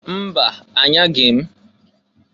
Mba! Anyaghi m.